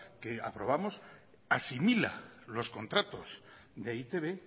que aprobamos asimila los contratos de e i te be